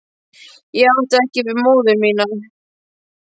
Ég átti ekki við móður mína.